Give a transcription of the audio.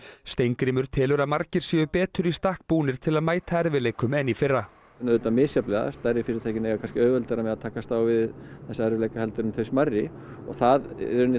Steingrímur telur að margir séu betur í stakk búnir til að mæta erfiðleikum en í fyrra auðvitað misjafnlega stærri fyrirtækin eiga kannski auðveldara með að takast á við þessa erfiðleika heldur en þau smærri og það